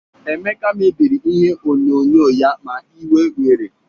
Emeka mebiri ihe onyonyo ya ma iwe were